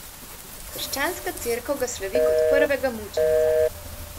Krščanska cerkev ga slavi kot prvega mučenca.